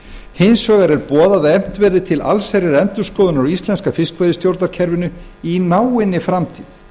hins vegar er boðað að efnt verði til allsherjarendurskoðunar á íslenska fiskveiðistjórnarkerfinu í náinni framtíð